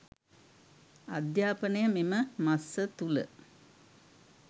අධ්‍යාපනය මෙම මස තුළ